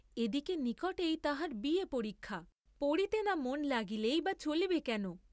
এদিকে নিকটেই তাঁহার বি এ পরীক্ষা, পড়িতে না মন লাগিলেই বা চলিবে কেন?